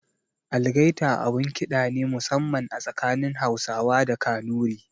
Algaita abun ƙida ne musamman a tsakanin Hausawa da Kanuri.